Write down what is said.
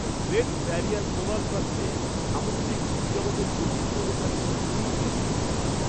Great barrier প্রবাল প্রাচীরে সামুদ্রিক জীবজগতের বৈচিত্র্য দেখে আমি সত্যিই বিস্মিত।